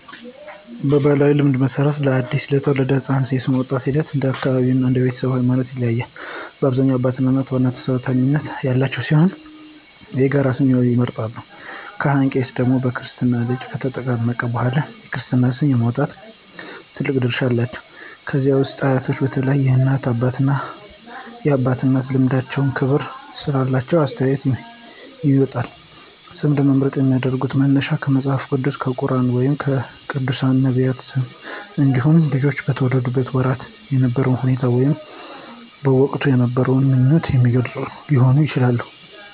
በባሕላዊ ልማድ መሠረት፣ ለአዲስ የተወለደ ሕፃን ስም የማውጣቱ ሂደት እንደ አካባቢው እና እንደ ቤተሰቡ ሃይማኖት ይለያያል። በአብዛኛው አባትና እናት ዋና ተሰሚነት ያላቸው ሲሆን የጋራ ስም ይመርጣሉ። ካህን/ቄስ ደግሞ በክርስትና ልጁ ከተጠመቀ በኋላ የክርስትና ስም የማውጣት ትልቅ ድርሻ አላቸው። ከዛ ውጪ አያቶች በተለይም የእናት አባትና የአባት እናት ልምዳቸውና ክብር ስላላቸው አስተያየታቸው ይደመጣል። ስም ለመምረጥ የሚያገለግሉ መነሻዎች ከመጽሐፍ ቅዱስ፣ ከቁርኣን ወይም ከቅዱሳን/ነቢያት ስሞች እንዲሁም ልጁ በተወለደበት ወቅት የነበረውን ሁኔታ ወይም ወላጆች በወቅቱ የነበራቸውን ምኞት የሚገልጽ ስም ሊሆን ይችላል።